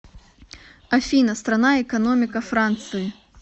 афина страна экономика франции